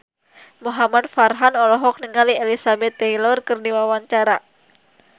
Muhamad Farhan olohok ningali Elizabeth Taylor keur diwawancara